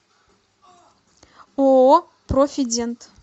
ооо профидент